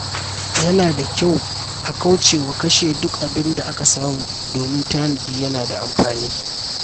Yana da kyau a kauce wa kashe duk abin da aka samu, domin tanadi yana da amfani.